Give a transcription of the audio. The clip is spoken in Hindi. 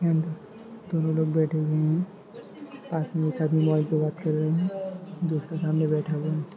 ऐ दो लोहग बेठे हुवे है पास में एक आदमी मोबाइल पे बात कर रहा है दोस्त के सामने बेठा हुआ है।